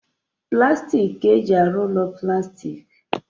Plastik ka-eji arụ ụlọ plastik